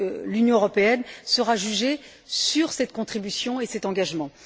L'Union européenne sera jugée sur cette contribution et sur cet engagement.